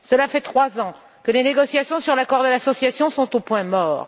Cela fait trois ans que les négociations sur l'accord d'association sont au point mort.